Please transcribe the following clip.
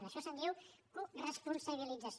d’això se’n diu coresponsabilització